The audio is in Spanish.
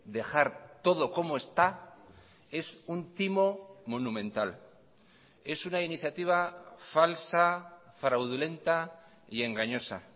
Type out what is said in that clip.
dejar todo como está es un timo monumental es una iniciativa falsa fraudulenta y engañosa